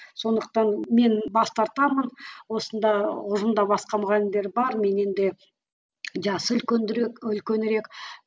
сондықтан мен бас тартамын осында ұжымда басқа мұғалімдер бар менен де жасы үлкендірек үлкенірек